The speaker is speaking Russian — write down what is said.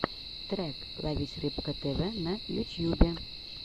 трек ловись рыбка тв на ютьюбе